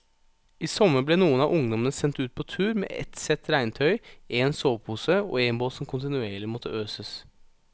I sommer ble noen av ungdommene sendt ut på tur med ett sett regntøy, en sovepose og en båt som kontinuerlig måtte øses.